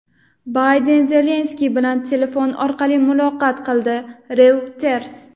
Bayden Zelenskiy bilan telefon orqali muloqot qildi – "Reuters".